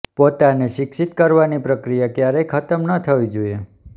પોતાને શિક્ષિત કરવાની પ્રક્રિયા ક્યારેય ખતમ ન થવી જોઈએ